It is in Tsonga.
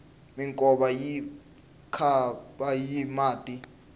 minkova yi khapa hi mati